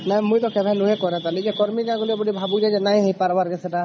ନାଇଁ ମୁଇ ତ କଡା ନାଇଁ କାରବେ କରିମ ଯେ ଭାବୁଛି ନାଇଁ ହେଇ ପରବର କିସ ଟା